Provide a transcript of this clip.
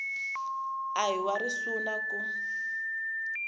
a hi wa risuna ku